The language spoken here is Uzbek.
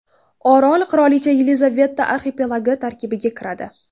Orol Qirolicha Yelizaveta arxipelagi tarkibiga kiradi.